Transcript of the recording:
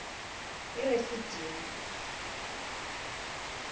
erefidimi